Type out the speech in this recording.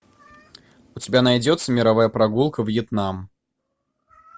у тебя найдется мировая прогулка вьетнам